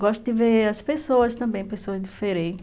Gosto de ver as pessoas também, pessoas diferentes.